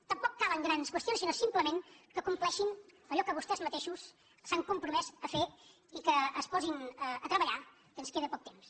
tampoc calen grans qüestions sinó simplement que compleixin allò que vostès mateixos s’han compromès a fer i que es posin a treballar que ens queda poc temps